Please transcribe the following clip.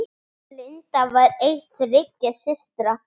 Linda var ein þriggja systra.